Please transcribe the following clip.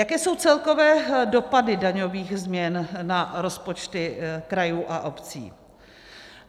Jaké jsou celkové dopady daňových změn na rozpočty krajů a obcí?